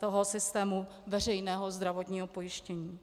toho systému veřejného zdravotního pojištění.